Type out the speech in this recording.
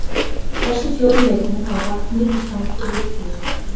Þessir fjórir leikmenn hafa lagt mikið fram fyrir leiktíðina okkar.